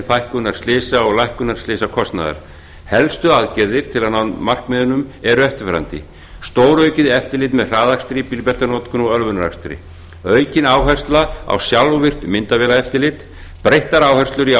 fækkunar slysa og lækkunar slysakostnaðar helstu aðgerðir til að ná markmiðunum eru eftirfarandi stóraukið eftirlit með hraðakstri bílbeltanotkun og ölvunarakstri auk áhersla á sjálfvirkt myndavélaeftirlit breyttar áherslur í